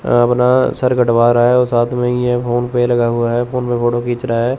अपना सर कटवा रहा है साथ में ही ये फोन पे लगा हुआ है फोन पे फोटो खींच रहा है।